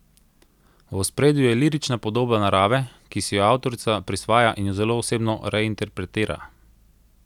V ospredju je lirična podoba narave, ki si jo avtorica prisvaja in jo zelo osebno reinterpretira.